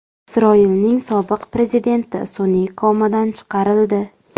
Isroilning sobiq prezidenti sun’iy komadan chiqarildi.